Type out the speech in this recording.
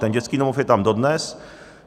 Ten dětský domov je tam dodnes.